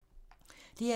DR2